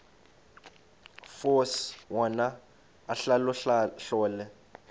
force wona ahlolahlole